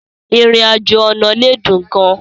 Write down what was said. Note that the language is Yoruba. Ìrìn-àjò ọ̀nà lè dùn gan-an.